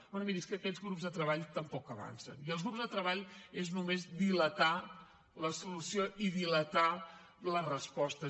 bé miri és que aquest grups de treball tampoc avancen i els grups de treball és només dilatar la solució i dilatar les respostes